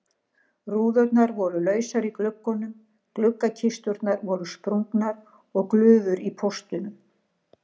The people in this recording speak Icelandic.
Rúðurnar voru lausar í gluggunum, gluggakisturnar voru sprungnar og glufur í póstunum.